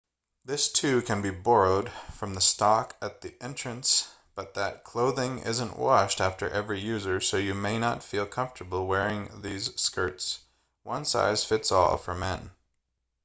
this too can be borrowed from the stock at the entrance but that clothing isn't washed after every user so you may not feel comfortable wearing these skirts one size fits all for men